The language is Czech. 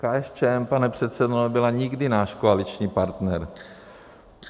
KSČM, pane předsedo, nebyla nikdy náš koaliční partner.